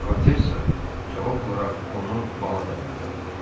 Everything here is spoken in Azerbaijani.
Vikontessa cavab olaraq onu bala dəvət elədi.